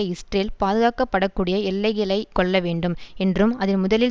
Israel பாதுகாக்கப்படக்கூடிய எல்லைகளை கொள்ள வேண்டும் என்றும் அது முதலில்